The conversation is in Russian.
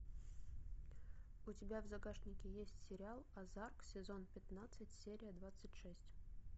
у тебя в загашнике есть сериал озарк сезон пятнадцать серия двадцать шесть